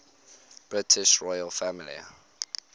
british royal family